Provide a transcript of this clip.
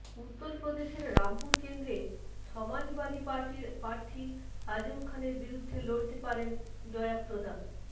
উত্তরপ্রদেশের রামপুর কেন্দ্রে সমাজবাদী পার্টির প্রার্থী আজম খানের বিরুদ্ধে লড়তে পারেন জয়াপ্রদা